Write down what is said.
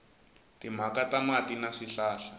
timhaka ta mati na swihlahla